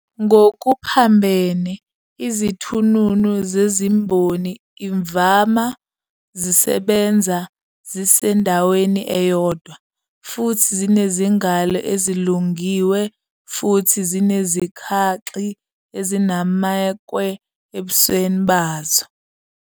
Ngokuphambene, izithununu zezimboni imvama zisebenza zisendaweni eyodwa, futhi zinezingalo ezilungiwe futhi zinezikhaxi azinamekwe ebusweni bazo.